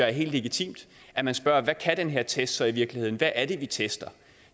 er helt legitimt at man spørger hvad kan den her test så i virkeligheden hvad er det vi tester